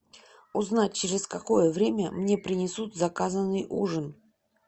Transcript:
узнать через какое время мне принесут заказанный ужин